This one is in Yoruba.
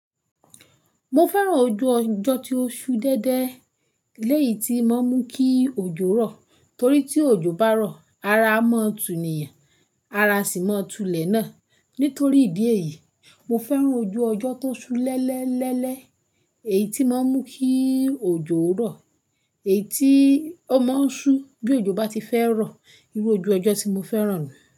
Mo fẹ́ràn ojú ọjọ́ tí ó ṣú dẹ́dẹ́ léyí tí mọ́ ń mú kí òjò rọ̀. Torí tí òjò bá rọ̀, ara máa túni, ara sì máa tulẹ̀ náà. Nítorí ìdí èyí, mo fẹ́ràn ojú ọjọ́ tó ṣú lẹ́lẹ́ lẹ́lẹ́ èyí tí mọ́ ń mú kí òjò rọ̀, èyí tí ó máa ń ṣú bí òjò bá ti fẹ́ rọ̀. Irú ojú ọjọ́ tí mo fẹ́ràn ní.